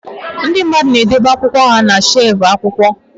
Ndị mmadụ na-edobe akwụkwọ ha na shelf akwụkwọ